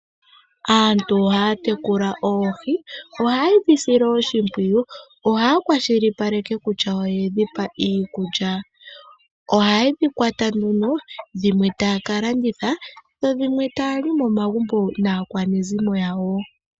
Aantu ohaya tekula oohi. Ohaye dhi sile oshimpwiyu. Oha kwashilipaleke kutya oyedhi pa iikulya. Ohaye dhi kwata nduno dho dhimwe taaka landitha dho dhimwe taali momagumbo naakwanezimo yawo.